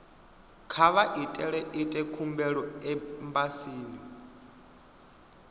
kha vha ite khumbelo embasini